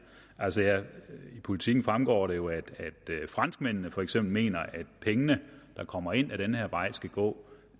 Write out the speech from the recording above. altså af politiken fremgår det jo at franskmændene for eksempel mener at pengene der kommer ind ad den her vej skal gå